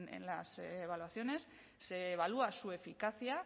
en las evaluaciones se evalúa su eficacia